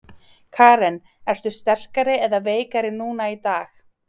Karen: Ertu sterkari eða veikari núna í dag?